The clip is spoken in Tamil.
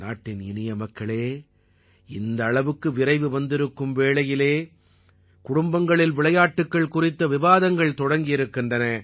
நாட்டின் இனியமக்களே இந்த அளவுக்கு விரைவு வந்திருக்கும் வேளையிலே குடும்பங்களில் விளையாட்டுக்கள் குறித்த விவாதங்கள் தொடங்கி இருக்கின்றன